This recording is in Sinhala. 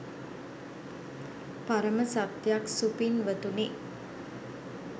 පරම සත්‍යයක් සුපින්වතුනි.